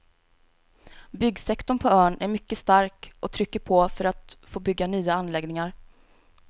Byggsektorn på ön är mycket stark och trycker på för att få bygga nya anläggningar.